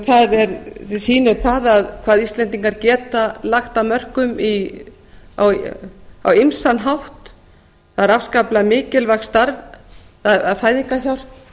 það sýnir það hvað íslendingar geta lagt af mörkum á ýmsan hátt það er afskaplega mikilvægt starf að fæðingarhjálp